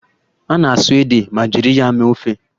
A na-asụ ede ma jiri ya mee ofe